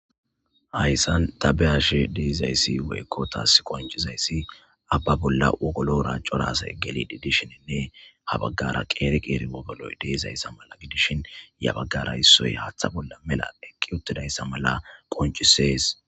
Hayssan tabehashi diizayssi weekko taas qoncizayssi abba bolla wogolora corasa e geli di dishininne habaggara qeeriq iriwogoloy deezayssa mala gidishin yabaggara issoy haaththa bolla mela eqqi uttidayssa mala qoncisees.